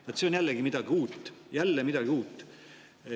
Vaat, see on jälle midagi uut, jälle midagi uut.